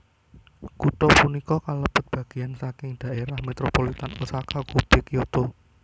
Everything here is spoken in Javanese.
Kutha punika kalebet bagéyan saking dhaérah metropolitan Osaka Kobe Kyoto